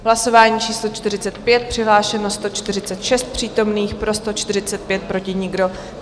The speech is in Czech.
Hlasování číslo 45, přihlášeno 146 přítomných, pro 145, proti nikdo.